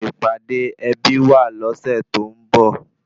Ìpàdé ẹbí wà lọ́sẹ̀ tó ń bọ̀